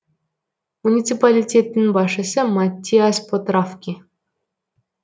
муниципалитеттің басшысы маттиас потрафки